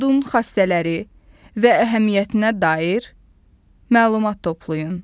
Yodun xassələri və əhəmiyyətinə dair məlumat toplayın.